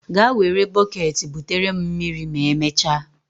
Gaa were bọket butere m mmiri ma emechaa.